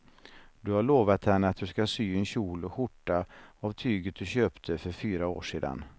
Du har lovat henne att du ska sy en kjol och skjorta av tyget du köpte för fyra år sedan.